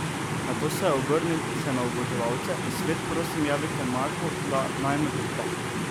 Nato se je obrnil še na oboževalce: 'Svet, prosim javite Marku, da naj me podpre ...